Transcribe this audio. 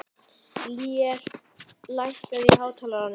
Lér, lækkaðu í hátalaranum.